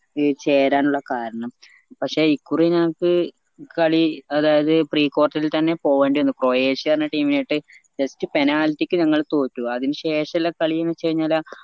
ചേരാനുള്ള കാരണം പക്ഷേ ഇക്കുറി ഞാങ്ങക്ക് കളി അതായത് precourt ഇൽ തന്നെ പോവേണ്ടി വന്നു ക്രൊയേഷ്യന്ന് പറഞ്ഞ team ആയിട്ട് just penalty ക്ക് നമ്മ തോറ്റു അതിന് ശേഷുള്ള കളിന്ന് വെച്ചഴിഞ്ഞാല്